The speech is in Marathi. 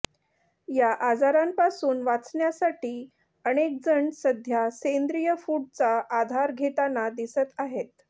या आजारांपासून वाचण्यासाठी अनेकजण सध्या सेंद्रिय फूडचा आधार घेताना दिसत आहेत